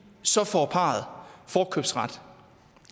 så får parret forkøbsret